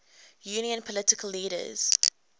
union political leaders